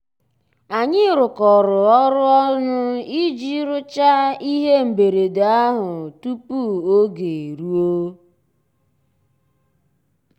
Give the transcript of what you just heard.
ànyị́ rụ́kọ̀rọ́ ọ́rụ́ ọnụ́ ìjì rụ́cháá íhé mbérèdé àhụ́ túpú ògé èrúó.